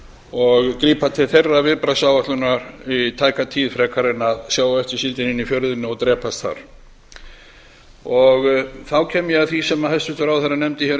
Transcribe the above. og grípa til þeirrar viðbragðsáætlunar í tæka tíð frekar en að sjá á eftir síldinni inn í fjörðinn og drepast þar þá kem ég að því sem hæstvirtur ráðherra nefndi hér um